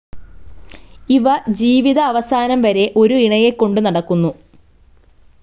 ഇവ ജീവിത അവസാനം വരെ ഒരു ഇണയെ കൊണ്ടു നടക്കുന്നു.